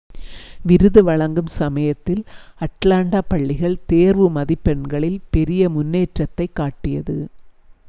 விருது வழங்கும் சமயத்தில் அட்லாண்டா பள்ளிகள் தேர்வு மதிப்பெண்களில் பெரிய முன்னேற்றத்தைக் காட்டியது